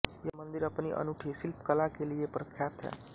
यह मंदिर अपनी अनूठी शिल्पकला के लिए प्रख्यात है